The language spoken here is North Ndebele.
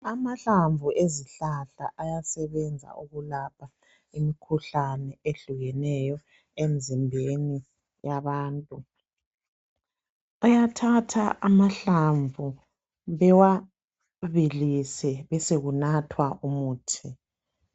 Amahlamvu ezihlahla ayasebenza ukulapha imikhuhlane emzimbeni yabantu bayathatha amahlamvu bewabilise besekunathwa umuthi